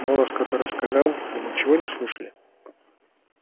голос который сказал вы ничего не слышали